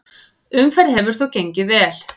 Umferð hefur þó gengið vel.